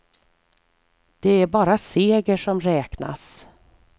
Det är bara seger som räknas.